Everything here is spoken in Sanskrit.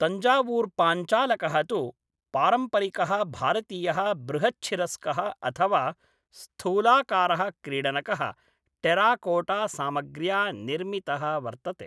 तञ्जावूर्पाञ्चालकः तु पारम्परिकः भारतीयः बृहच्छिरस्कः अथवा स्थूलाकारः क्रीडनकः, टेराकोटासामग्र्या निर्मितः वर्तते।